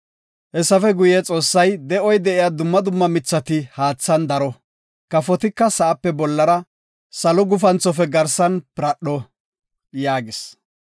Hessafe guye, Xoossay, “De7oy de7iya dumma dumma medhetethati haathan daro; kafotika sa7ape bollara, salo gufanthofe garsan piradho” yaagis.